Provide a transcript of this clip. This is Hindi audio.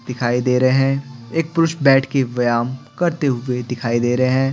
दिखाई दे रहे हैं एक पुरुष बैठ के व्यायाम करते हुए दिखाई दे रहे हैं।